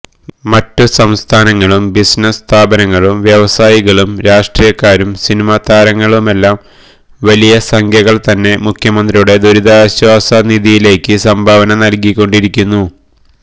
മറ്റു സംസ്ഥാനങ്ങളും ബിസിനസ് സ്ഥാപനങ്ങളും വ്യവസായികളും രാഷ്ട്രീയക്കാരും സിനിമാതാരങ്ങളുമെല്ലാം വലിയ സംഖ്യകള് തന്നെ മുഖ്യമന്ത്രിയുടെ ദുരിതാശ്വാസ നിധിയിലേക്ക് സംഭാവന നല്കിക്കൊണ്ടിരിക്കുന്നു